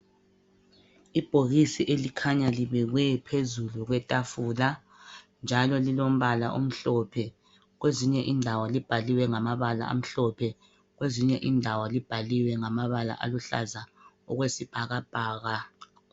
Ibhokisi elikhanya libekwe phezulu kwetafula njalo lilombala omhlophe kwezinye indawo libhaliwe ngamabala aluhlaza okwesibhakabhaka.